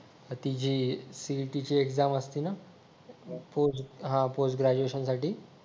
अह हा ती जे CET ची एक्झाम असते ना हा पोस्ट ग्रॅज्युएशन साठी